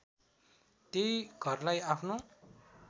त्यही घरलाई आफ्नो